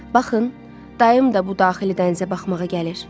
Baxın, dayım da bu daxili dənizə baxmağa gəlir.